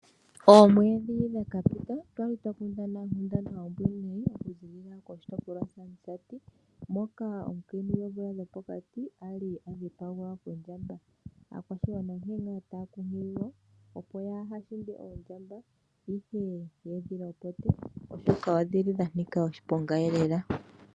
Oomwedhi dhaka pita otwali twa kundana onkundana ombwinayi okuzilila koshitopolwa shaAmusati moka omukiintu goomvula dho pokati ali adhipagwa Kondjamba. Aakwashigwana onkee nga taya kunkililwa Opo ya haa shinde oondjamba ihe yedhi lopote oshoka odhili dha ntika oshiponga.